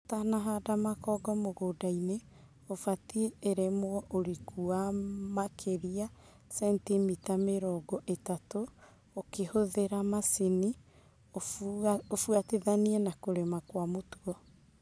Ũtanahanda makongo mũgũnda ũfatie urĩmwo ũriku wa maĩria macentimita mĩrongo ĩtatũ ũkĩhũthĩra macini ufuatithanie na kũrĩma kwa mũtugo.